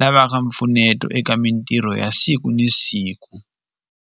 lavaka mpfuneto eka mintirho ya siku ni siku.